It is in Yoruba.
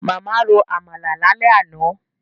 Màmá ro Àmàlà lálẹ́ àná